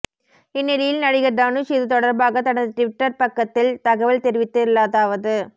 இந்நிலையில் நடிகா் தனுஷ் இது தொடா்பாக தனது ட்விட்டா் பக்கத்தில் தகவல் தெரிவித்துள்ளதாவது